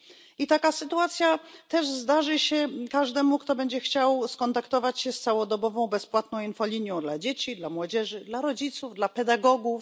I taka sytuacja zdarzy się też każdemu, kto będzie chciał skontaktować się z całodobową bezpłatną infolinią dla dzieci, dla młodzieży, dla rodziców, dla pedagogów.